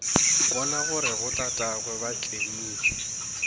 bona gore botatagwe ba tlemile